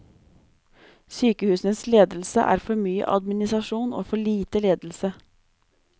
Sykehusenes ledelse er for mye administrasjon og for lite ledelse.